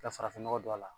Ka farafinnɔgɔ don a la